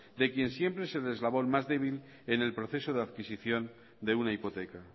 de quien siempre es el eslabón más débil en el proceso de adquisición de una hipoteca